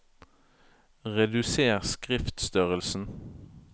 Reduser skriftstørrelsen